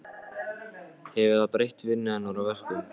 Hefur það breytt vinnu hennar og verkum?